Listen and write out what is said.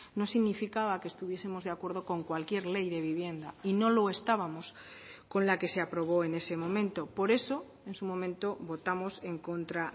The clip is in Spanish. no significaba que estuviesemos de acuerdo con cualquier ley de vivienda y no lo estábamos con la que se aprobó en ese momento por eso en su momento votamos en contra